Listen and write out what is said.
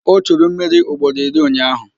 O churu mmiri ugboro iri ụnyaahụ